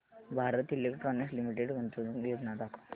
Bharat electronics limited गुंतवणूक योजना दाखव